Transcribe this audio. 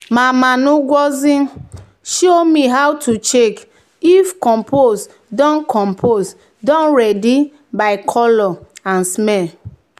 "mama ngozi show me how to check if compost don compost don ready by colour and smell."